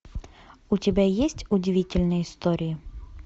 у тебя есть удивительные истории